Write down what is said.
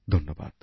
ধন্যবাদ